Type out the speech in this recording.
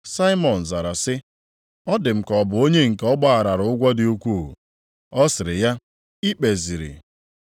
Saimọn zara sị, “Ọ dị m ka ọ bụ onye nke ọ gbaghara ụgwọ dị ukwuu.” Ọ sịrị ya, “Ị kpeziri.”